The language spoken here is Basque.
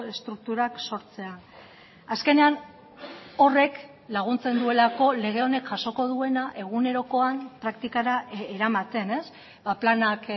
estrukturak sortzea azkenean horrek laguntzen duelako lege honek jasoko duena egunerokoan praktikara eramaten planak